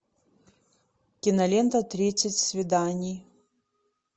кинолента тридцать свиданий